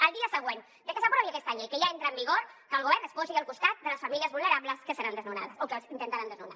al dia següent de que s’aprovi aquesta llei que ja entra en vigor que el govern es posi al costat de les famílies vulnerables que seran desnonades o que les intentaran desnonar